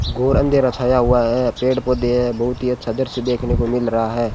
घोर अंधेरा छाया हुआ है पेड़ पौधे हैं बहुत ही अच्छा दृश्य देखने को मिल रहा है।